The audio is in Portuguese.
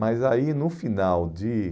Mas aí no final de